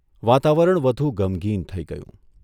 વાતાવરણ વધુ ગમગીન થઇ ગયું.